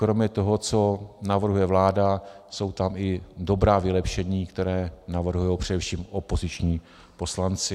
Kromě toho, co navrhuje vláda, jsou tam i dobrá vylepšení, která navrhují především opoziční poslanci.